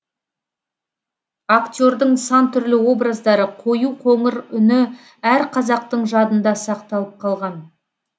актердің сан түрлі образдары қою қоңыр үні әр қазақтың жадында сақталып қалған